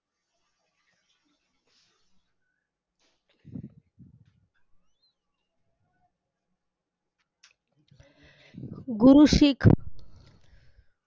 गुरु शीख